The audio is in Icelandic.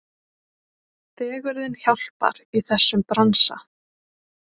Fegurðin hjálpar í þessum bransa.